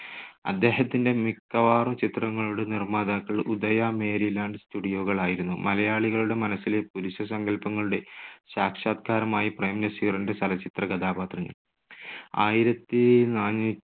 അദ്ദേഹത്തിന്റെ മിക്കവാറും ചിത്രങ്ങളുടെ നിർമ്മാതാക്കൾ ഉദയ, മേരിലാൻഡ് studio കൾ ആയിരുന്നു. മലയാളികളുടെ മനസ്സിലെ പുരുഷ സങ്കൽപ്പങ്ങളുടെ സാക്ഷാത്കാരമായി പ്രേം നസീറിന്റെ ചലച്ചിത്ര കഥാപാത്രങ്ങൾ. ആയിരത്തി നാനൂ~